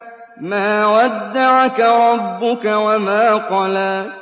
مَا وَدَّعَكَ رَبُّكَ وَمَا قَلَىٰ